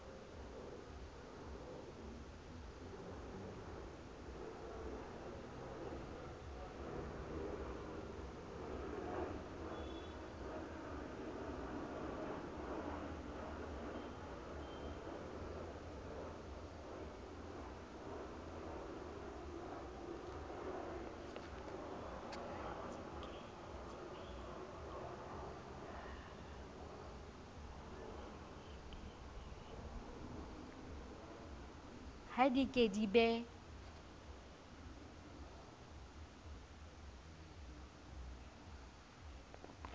ha di ke di be